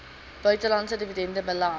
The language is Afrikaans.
buitelandse dividende belas